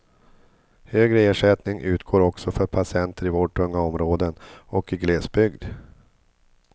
Högre ersättning utgår också för patienter i vårdtunga områden och i glesbygd.